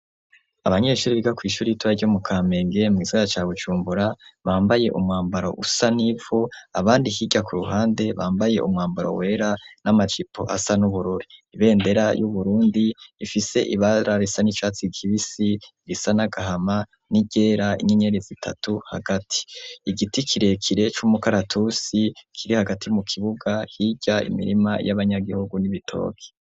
Abanyeshuri biga kw'ishuri itoya ryo mu kamenge mw'izaya ca bucumbura bambaye umwambaro usa n'ivo abandi kirya ku ruhande bambaye umwambaro wera n'amacipo asa n'ubururi ibendera y'uburundi ifise ibararisa n'icatsi kibisi risa n'agahama n'iryera inyenyerezo itatu hagati igiti kirekire c'umukaratusi kiri hagati mu kibuga hirya imirima y'abanyagihugu n'ibitoki.